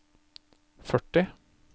førti